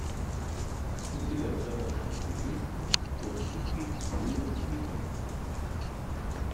у тебя в загашнике есть кон тики с уиллом смитом